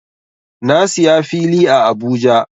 Na siya fili a Abuja.